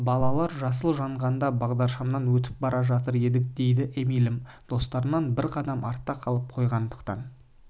балалар жасыл жанғанда бағдаршамнан өтіп бара жатыр едік дейді эмильім достарынан бір қадам артта қалып қойғандықтан